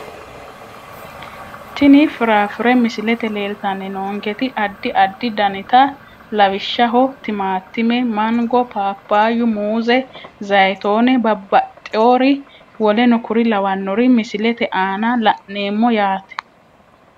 Tini firafire misilete leeltani noonketi adi adi daniti lawishshaho timatime mango papayu muuze zayitone babaxewore w.k.l misilete aana la`neemo yaate.